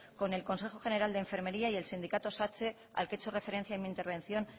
con el consejo general de enfermería y el sindicato satse al que he hecho referencia en mi intervención